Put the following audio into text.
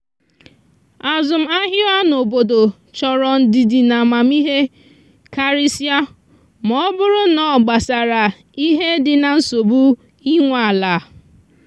azụmahịa n’obodo chọrọ ndidi na amamihe karịsịa ma ọ bụrụ na ọ gbasara ihe dị na nsogbu inwe ala.